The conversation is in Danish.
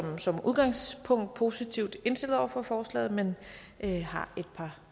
som udgangspunkt positivt indstillet over for forslaget men har et par